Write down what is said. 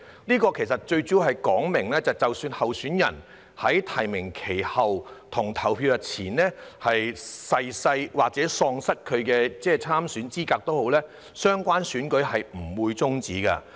這其實主要是說明，即使候選人在提名期結束後但在投票日前逝世或喪失參選資格，相關選舉也不會終止。